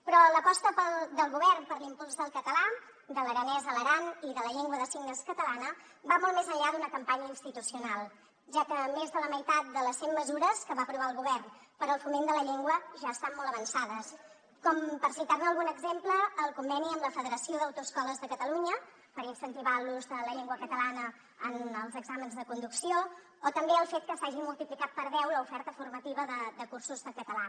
però l’aposta del govern per l’impuls del català de l’aranès a l’aran i de la llengua de signes catalana va molt més enllà d’una campanya institucional ja que més de la meitat de les cent mesures que va aprovar el govern per al foment de la llengua ja estan molt avançades com per citar ne algun exemple el conveni amb la federació d’autoescoles de catalunya per incentivar l’ús de la llengua catalana en els exàmens de conducció o també el fet que s’hagi multiplicat per deu l’oferta formativa de cursos de català